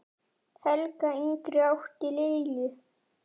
Helga yngri átti Lilju.